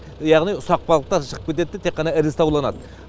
яғни ұсақ балықтар шығып кетеді де тек қана ірісі ауланады